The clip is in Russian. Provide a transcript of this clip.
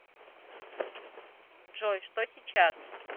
джой что сейчас